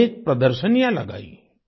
अनेक प्रदर्शनियां लगाई